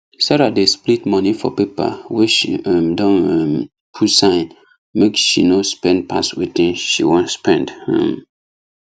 sarah dey split money for paper wey she um don um put sign make she no spend pass wetin she wan spend um